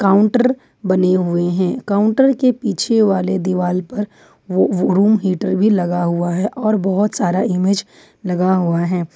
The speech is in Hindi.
काउंटर बने हुए हैं काउंटर के पीछे वाले दिवाल पर वो रूम हीटर भी लगा हुआ है और बहुत सारा इमेज लगा हुआ है।